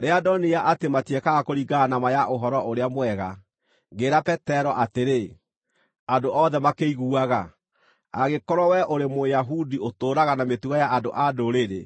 Rĩrĩa ndonire atĩ matiekaga kũringana na ma ya Ũhoro-ũrĩa-Mwega, ngĩĩra Petero atĩrĩ, andũ othe makĩiguaga, “Angĩkorwo wee ũrĩ Mũyahudi, ũtũũraga na mĩtugo ya andũ-a-Ndũrĩrĩ